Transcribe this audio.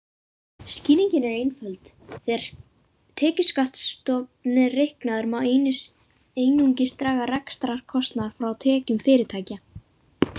Skýringin er einföld: Þegar tekjuskattsstofn er reiknaður má einungis draga rekstrarkostnað frá tekjum fyrirtækja.